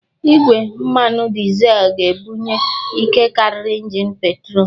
Igwe mmanụ dizel ga-ebunye ike karịa injin petrol